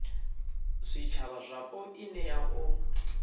zwitshavha zwapo i nea u